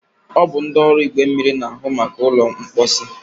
ọ bụ ndị ọrụ igwe mmiri na-ahụ maka ụlọ mkposi.